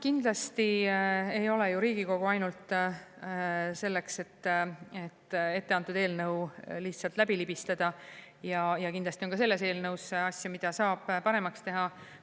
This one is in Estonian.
Kindlasti ei ole ju Riigikogu ainult selleks, et etteantud eelnõu lihtsalt läbi libistada, ja kindlasti on ka selles eelnõus asju, mida saab paremaks teha.